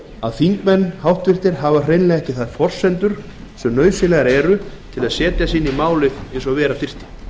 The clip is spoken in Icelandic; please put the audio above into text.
að þingmenn hafa hreinlega ekki þær forsendur sem nauðsynlegar eru til þess að setja sig inn í málið eins og vera þyrfti